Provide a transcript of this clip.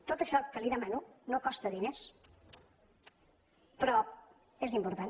tot això que li demano no costa diners però és important